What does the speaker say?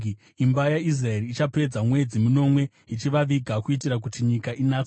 “ ‘Imba yaIsraeri ichapedza mwedzi minomwe ichivaviga kuitira kuti nyika inatswe.